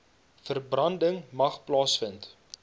verbranding mag plaasvind